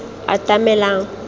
atamelang